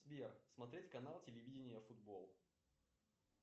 сбер смотреть канал телевидения футбол